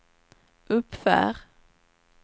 uppför